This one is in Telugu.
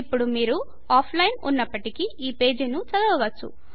ఇప్పుడు మీరు ఆఫ్లైన్లో ఉన్నపటికీ ఈ పేజీ ను చదువుకోవచ్చు